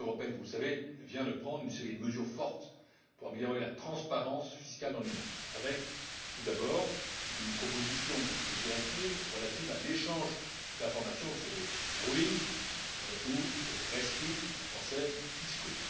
La Commission européenne, vous le savez, vient de prendre une série de mesures fortes pour améliorer la transparence fiscale dans l'Union avec, tout d'abord, une proposition de directive relative à l'échange d'informations sur les rulings ou en français rescrits fiscaux.